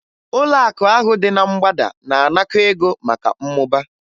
Ụlọakụ ahụ dị na mgbada na-anakọ ego maka mmụba